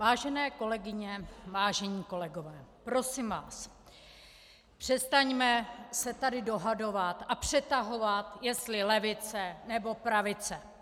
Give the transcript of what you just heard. Vážené kolegyně, vážení kolegové, prosím vás, přestaňme se tady dohadovat a přetahovat, jestli levice, nebo pravice.